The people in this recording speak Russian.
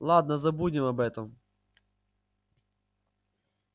ладно забудем об этом